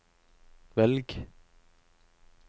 velg